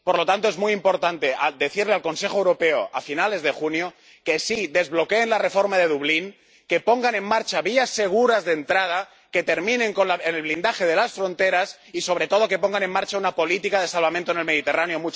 Por lo tanto, es muy importante decirle al Consejo Europeo a finales de junio, que desbloquee la reforma de Dublín, que ponga en marcha vías seguras de entrada, que termine con el blindaje de las fronteras y, sobre todo, que ponga en marcha una política de salvamento en el Mediterráneo.